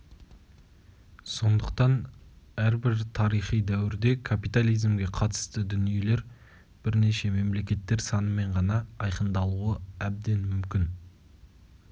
сондықтан әрбір тарихи дәуірде капитализмге қатысты дүниелер бірнеше мемлекеттер санымен ғана айқындалуы әбден мүмкін